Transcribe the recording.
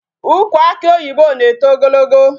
Ukwu akị oyibo na-eto ogologo.